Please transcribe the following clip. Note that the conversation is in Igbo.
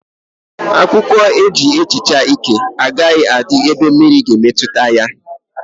Akwụkwọ eji ehicha íke agaghi adị n'ebe mmiri ga emetụta ya